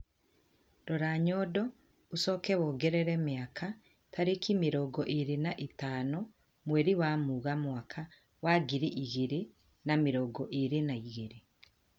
Rora nyondo ucoke wongerere miaka, tariki mirongo iri na ithano mweri wa Mugaa mwaka wa ngiri igiri na mirongo irir na igiri